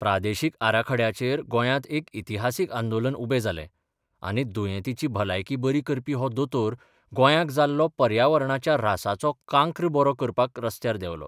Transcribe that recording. प्रादेशीक आराखड्याचेर गोंयांत एक इतिहासीक आंदोलन उबें जालें आनी दुंयेतींची भलायकी बरी करपी हो दोतोर गोंयांक जाल्लो पर्यावरणाच्या रासाचो कांक्र बरो करपाक रस्त्यार देवलो.